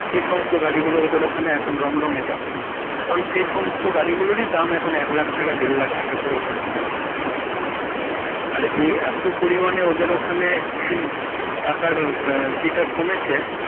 সে সমস্ত গাড়িগুলো ওদের ওখানে রম রোমে চলে কারণ সেই সমস্ত গাড়িগুলোরই দাম এক লাখ টাকা দেড় লাখ টাকা করে ওখানে পাওয়া যায়. হুম হুম। আর ইহ এতো পরিমাণে ওদের ওখানে হমম টাকার ইটা কমেছে।